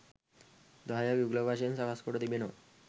දහයක් යුගල වශයෙන් සකස් කොට තිබෙනවා